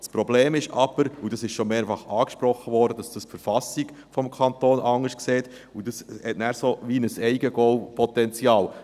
Das Problem ist aber – und das wurde schon mehrfach angesprochen –, dass das die KV anders sieht, und das hat dann ein Eigengoal-Potenzial.